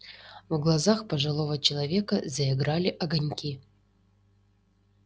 в глазах пожилого человека заиграли огоньки